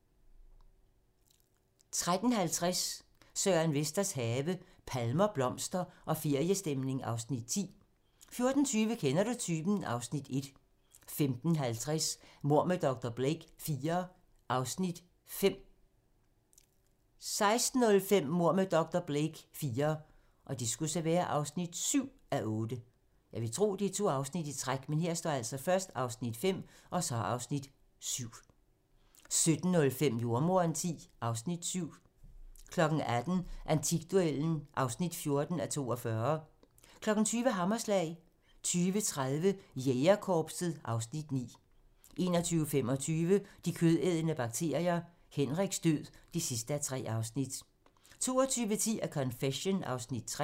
13:50: Søren Vesters have - palmer, blomster og feriestemning (Afs. 10) 14:20: Kender du typen? (Afs. 1) 15:05: Mord med dr. Blake IV (5:8) 16:05: Mord med dr. Blake IV (7:8) 17:05: Jordemoderen X (Afs. 7) 18:00: Antikduellen (14:42) 20:00: Hammerslag 20:30: Jægerkorpset (Afs. 9) 21:25: De kødædende bakterier - Henriks død (3:3) 22:10: A Confession (3:6)